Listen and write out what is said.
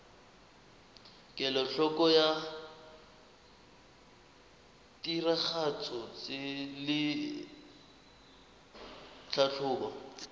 kelotlhoko ya tiragatso le tlhatlhobo